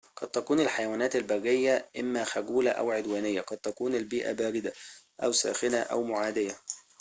قد تكون الحيوانات البرية إما خجولة أو عدوانية قد تكون البيئة باردة أو ساخنة أو معادية